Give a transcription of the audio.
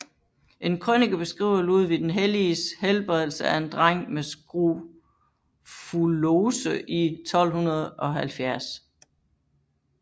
En krønike beskriver Ludvig den Helliges helbredelse af en dreng med skrofulose i 1270